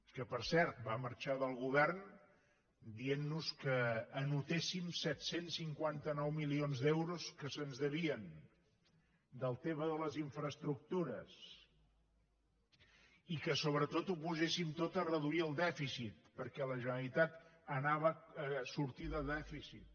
que per cert va marxar del govern dientnos que anotéssim set cents i cinquanta nou milions d’euros que se’ns devien del tema de les infraestructures i que sobretot ho poséssim tot a reduir el dèficit perquè la generalitat anava a sortir del dèficit